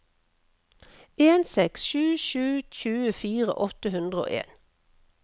en seks sju sju tjuefire åtte hundre og en